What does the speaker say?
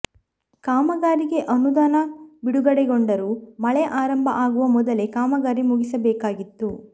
ಕಾಮಗಾರಿಗೆ ಅನುದಾನ ಬಿಡುಗಡೆಗೊಂಡರೂ ಮಳೆ ಆರಂಭ ಆಗುವ ಮೊದಲೇ ಕಾಮಗಾರಿ ಮುಗಿಸಬೇಕಾಗಿತ್ತು